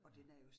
Ja